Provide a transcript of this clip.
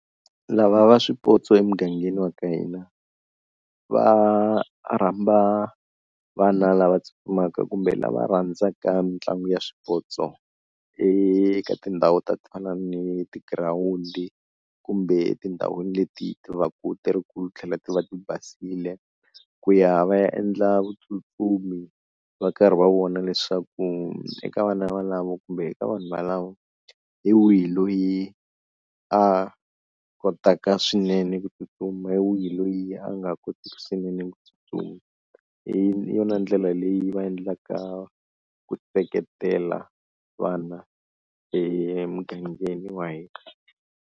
Lava va swipotso emugangeni wa ka hina, va rhamba vana lava tsutsumaka kumbe lava rhandzaka mitlangu ya swipotso eka tindhawu ta ku fana ni tigirawundi kumbe etindhawini leti ti va ku ti ri ku tlhela ti va ti basile ku ya va ya endla vutsutsumi va karhi va vona leswaku eka vana valavo kumbe eka vanhu valavo hi wihi loyi a kotaka swinene ku tsutsuma, hi wihi loyi a nga kotiki swinene ku tsutsuma, hi yona ndlela leyi va endlaka ku seketela vana emugangeni wa hina.